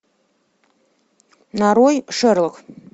нарой шерлок